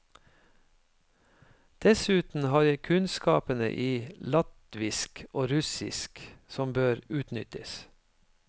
Dessuten har jeg kunnskapene i latvisk og russisk, som bør utnyttes.